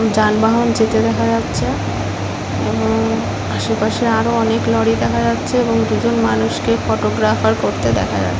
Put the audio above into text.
যানবাহন যেতে দেখা যাচ্ছে এবং আশেপাশে আরো অনেক লরি দেখা যাচ্ছে এবং দুজন মানুষকে ফটোগ্রাফার করতে দেখা যা--